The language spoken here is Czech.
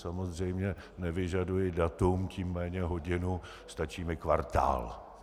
Samozřejmě nevyžaduji datum, tím méně hodinu, stačí mi kvartál.